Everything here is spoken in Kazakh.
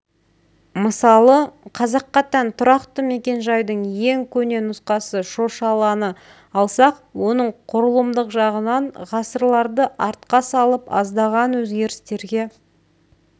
мысалы қазаққа тән тұрақты мекен-жайдың ең көне нұсқасы шошаланы алсақ оның құрылымдық жағынан ғасырларды артқа салып аздаған өзгерістерге